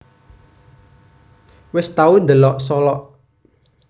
Wes tau ndelok Solok